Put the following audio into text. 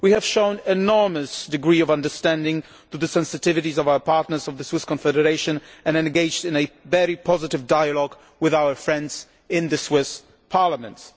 We have shown an enormous degree of understanding of the sensitivities of our partners in the Swiss Confederation and engaged in a very positive dialogue with our friends in the Swiss Parliament.